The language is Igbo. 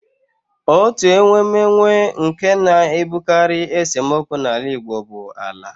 Otu enwemenwe nke na-ebutekarị esemokwu n'ala Igbo bụ ala